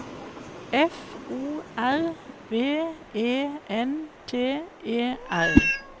F O R V E N T E R